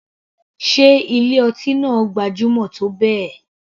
Sé ilé ọtí náà gbajúmọ̀ tó bẹ́ẹ̀.